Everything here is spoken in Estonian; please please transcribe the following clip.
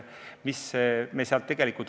Peeter Ernits.